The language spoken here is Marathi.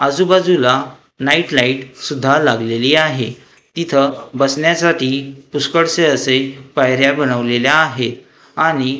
आजूबाजूला नाईट लाईट सुद्धा लागलेली आहे तिथं बसण्यासाठी पुष्कळसे असे पायऱ्या बनवलेल्या आहेत आणि--